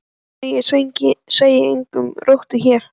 Nei, ég sé enga rottu hér